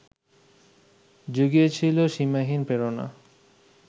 জুগিয়েছিল সীমাহীন প্রেরণা